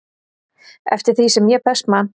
eftir því sem ég best man.